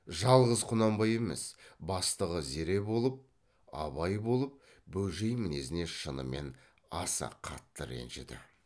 жалғыз құнанбай емес бастығы зере болып абай болып бөжей мінезіне шынымен аса қатты ренжіді